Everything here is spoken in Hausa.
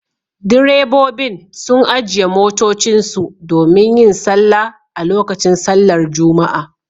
Direbobin sun ajiye motocinsu domin yin sallah a lokacin sallar Juma'a